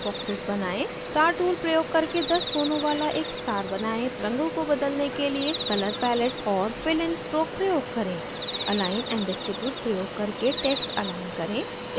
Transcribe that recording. star tool प्रयोग करके 10 कोनों वाला एक star बनाएं